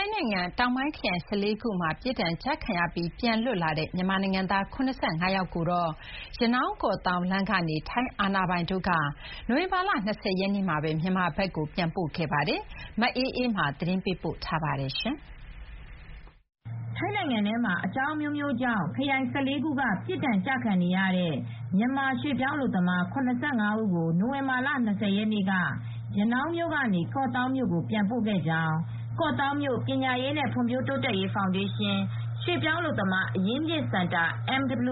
ိုင်းနိုင်ငံတောင်ပိုင်း ခရိုင် ၁၄ ခုမှာ ပြစ်ဒဏ်ကျခံရပြီး ပြန်လည် လွတ်မြောက်လာတဲ့ မြန်မာနိုင်ငံသား ၇၅ ယောက်ကို ရနောင်း- ကော့သောင်းလမ်းကနေ ထိုင်းအာဏာပိုင်တွေက နိုဝင်ဘာလ ၂၀ ရက်နေ့မှာပဲ မြန်မာဘက်ကို ပြန်ပို့ခဲ့ပါတယ်။ ဒီသတင်းကို ဗွီအိုအေသတင်းထောက် မအေးအေးမာက သတင်းပေးပို့ထားပါတယ်။ ထိုင်းနိုင်ငံထဲမှာ အကြောင်းအမျိုးမျိုးကြောင့် ခရိုင် ၁၄ ခုက ပြစ်ဒဏ်ကျခံရတဲ့ မြန်မာရွှေ့ပြောင်း အလုပ်သမား ၇၅ ဦးကို နိုဝင်ဘာလ ၂၀ ရက်နေ့က ရနောင်းမြို့ကနေ ကော့သောင်းမြို့ကို ပြန်ပို့ခဲ့ကြောင်း ကော့သောင်းမြို့ ပညာရေးနဲ့ ဖွံ့ဖြိုးတိုးတက်ရေး ဖောင်ဒေးရှင်း ရွှေ့ပြောင်းအလုပ်သမား အရင်းမြစ်စင်တာ တာဝန်ခံ ဦး